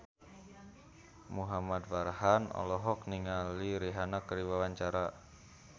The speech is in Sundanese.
Muhamad Farhan olohok ningali Rihanna keur diwawancara